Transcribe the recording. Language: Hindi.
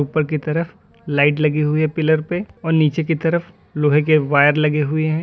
ऊपर की तरफ लाइट लगी हुई है पिलर पे और नीचे की तरफ लोहे के वायर लगे हुए हैं।